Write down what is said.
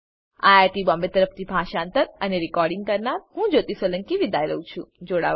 IIT Bombay તરફથી હું જ્યોતી સોલંકી વિદાય લઉં છું